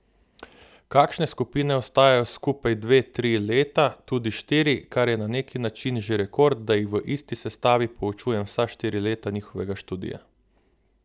Kakšne skupine ostajajo skupaj dve, tri leta, tudi štiri, kar je na neki način že rekord, da jih v isti sestavi poučujem vsa štiri leta njihovega študija.